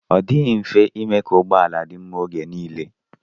Ọ dịghị mfe ime ka ụgbọala dị mma oge nile.